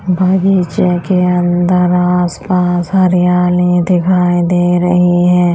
बगीचे के अंदर आस पास हरियाली दिखाई दे रही है।